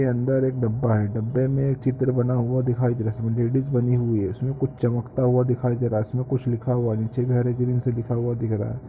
इसके अंदर एक डब्बा है डब्बे के में एक चित्र बना हुआ दिखाई दे रहा है इसमें लेडिज बनी हुई है इसमें कुछ चमकता हुआ दिखाई दे रहा है इसमें कुछ लिखा हुआ नीचे हरे रंग से लिखा हुआ दिख रहा है।